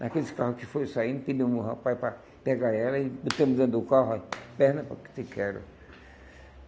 Naqueles carro que foi saindo, pedimos o rapaz para pegar ela e botamos dentro do carro, ó, perna para que te quero.